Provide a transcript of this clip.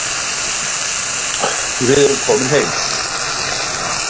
Við erum komin heim